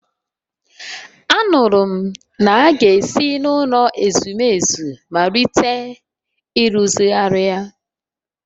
Anụrụ m na a ga-esi n’ụlọ ezumezu malite ịrụzigharị ya